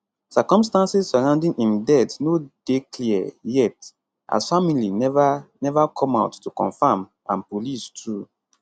circumstances surrounding im death no dey clear yet as family never never come out to confirm and police too